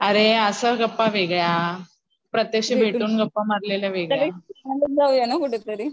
अरे अशा गप्पा वेगळ्या, प्रत्यक्ष भेटून गप्पा मारलेल्या वेगळ्या.